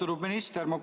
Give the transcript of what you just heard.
Austatud minister!